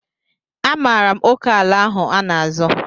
Amaara m oke ala ahụ a n'azọ.